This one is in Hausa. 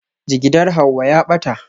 Jigidar Hauwa ya ɓata